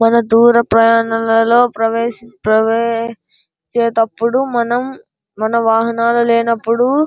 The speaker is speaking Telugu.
దూర ప్రయాణంలో ప్రవే ప్రవే చేటప్పుడు మనం మన వాహన లేనప్పుడు --